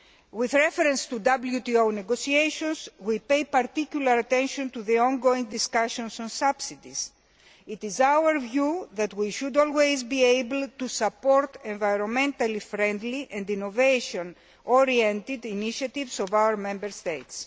With reference to WTO negotiations, we are paying particular attention to the ongoing discussions on subsidies. It is our view that we should always be able to support environmentally friendly and innovation oriented initiatives of our Member States.